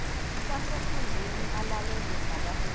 wasenkundleni alalelwe ngabaholi